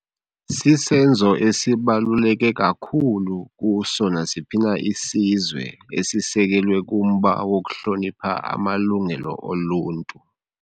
Sisenzo esibaluleke kakhulu kuso nasiphi na isizwe esisekelwe kumba wokuhlonipha amalungelo oluntu.